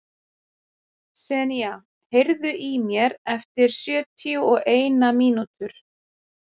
Senía, heyrðu í mér eftir sjötíu og eina mínútur.